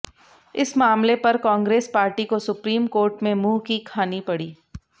इस मामले पर कांग्रेस पार्टी को सुप्रीम कोर्ट में मुंह की खानी पड़ी